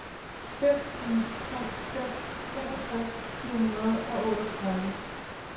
fem ni tre fem treogtres fire hundrede og otteogtredive